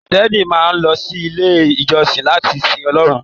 Kírísítẹ́nì máa n lọ sí ilé ìjọsìn láti sìn Ọlọrun.